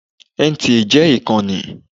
NTA jẹ́ ìkànnì.